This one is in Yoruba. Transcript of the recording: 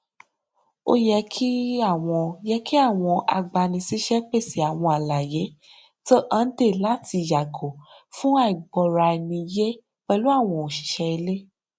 ó yẹ kí àwọn yẹ kí àwọn agbanisíṣẹ pèsè àwọn àlàyé tó hànde láti yàgò fún àìgbọraẹniyé pẹlú àwọn òṣìṣẹ ilé